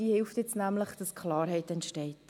Sie hilft, Klarheit zu schaffen.